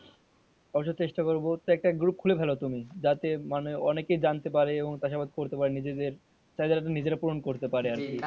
অবশ্য চেষ্টা করবো তো একটা group খুলে ফেলো তুমি যাতে মানে অনেকে জানতে পারে এবং চাষ বাস করতে পারে নিজেদের চাষ যাতে নিজেরা পুরন করতে পারে আরকি।